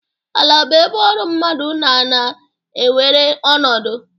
Ala bụ ebe ọrụ mmadụ na-na-ewere ọnọdụ.